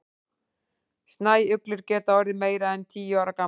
snæuglur geta orðið meira en tíu ára gamlar